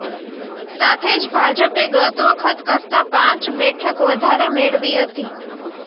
સાથે જ ભાજપે ગત વખત કરતા પાંચ બેઠક વધારે મેળવી હતી